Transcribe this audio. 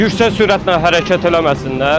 Yüksək sürətlə hərəkət eləməsinlər.